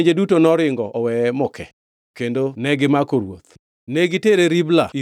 kendo gimako ruoth. Ne gitere Ribla ir ruodh Babulon, kendo kanyo ema nongʼadne buch twech.